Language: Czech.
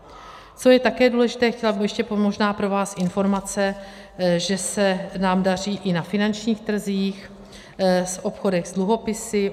Co je také důležité, chtěla bych ještě, možná pro vás informace, že se nám daří i na finančních trzích v obchodech s dluhopisy.